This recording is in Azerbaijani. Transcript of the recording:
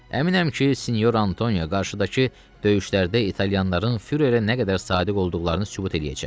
Əminəm ki, sinyor Antonio qarşıdakı döyüşlərdə italyanların fürerə nə qədər sadiq olduqlarını sübut eləyəcək.